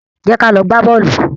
Jẹ́ ka lọ gbá bọ́ọ̀lù.